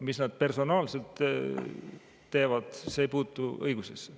Mis nad personaalselt teevad, see ei puutu õigusesse.